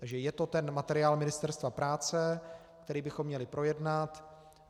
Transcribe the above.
Takže je to ten materiál Ministerstva práce, který bychom měli projednat.